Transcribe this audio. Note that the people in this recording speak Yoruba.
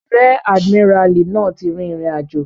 Ríẹ̀ àdìmíràlí náà ti rìn ìrìnàjò